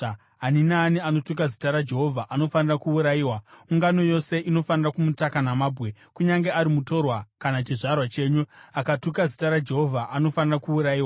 ani naani anotuka zita raJehovha anofanira kuurayiwa. Ungano yose inofanira kumutaka namabwe. Kunyange ari mutorwa kana chizvarwa chenyu, akatuka Zita raJehovha anofanira kuurayiwa.